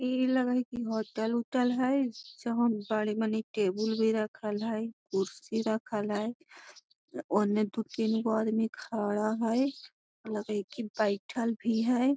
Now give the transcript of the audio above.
इ लगा हई की होटल उटल हई जहाँ बड़ी मनी टेबुल भी रखल हइ कुर्सी रखल हई ओने दू तीन गो आदमी खड़ा हइ लग हई की बइठल भी हई I